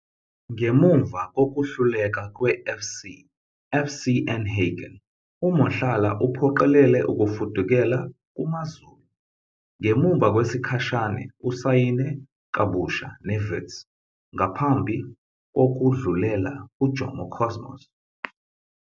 Ngemuva kokuhluleka kwe FC FCenhagen, uMohlala uphoqelele ukufudukela kuMaZulu. Ngemuva kwesikhashana, usayine kabusha neWits, ngaphambi kokudlulela kuJomo Cosmos.